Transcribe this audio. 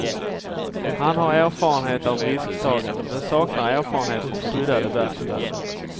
Han har erfarenhet av risktagande men saknar erfarenhet från skyddade verkstäder.